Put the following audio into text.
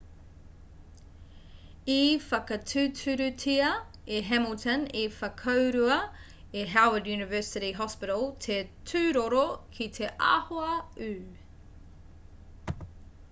i whakatūturutia e hamilton i whakaurua e howard university hospital te tūroro ki te āhua ū